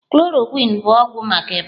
Chloroquine bụ ọgwụ maka ịba.